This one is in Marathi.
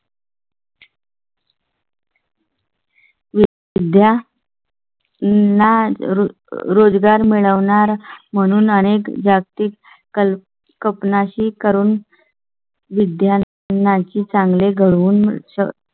उद्या . ना रोजगार मिळणार म्हणून आणि जागतिक कल्पना शी करून. विद्यार्थ्यांची चांगली करून